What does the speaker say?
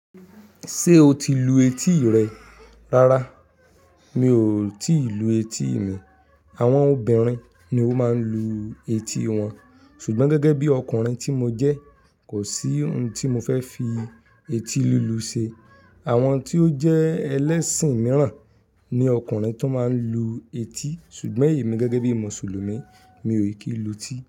Ṣé o ti lu etí rẹ? Rárá, mi ò tí ì lu etí mi. Àwọn obìnrin ni ó máa ń lu u etí wọn, ṣùgbọ́n gẹ́gẹ́ bí ọkùnrin tí mo jẹ́, kò sí hun tí mo fẹ́ fi eti lulu ṣe. Àwọn tí ó jẹ́ ẹlẹ́sìn mìíràn ni ọkùnrin tó máa ń lu etí, ṣùgbọ́n èmi gẹ́gẹ́ bí Mùsùlùmí, mi ò kí lu etí.